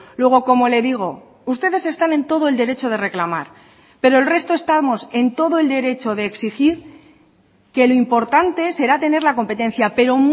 luego como le digo ustedes están en todo el derecho de reclamar pero el resto estamos en todo el derecho de exigir que lo importante será tener la competencia pero